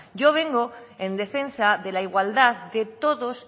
yo vengo en defensa de la igualdad de todos